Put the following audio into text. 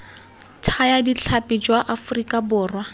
thaya ditlhapi jwa aforika borwa